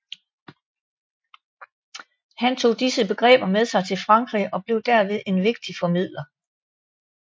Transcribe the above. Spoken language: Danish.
Han tog disse begreber med sig til Frankrig og blev derved en vigtig formidler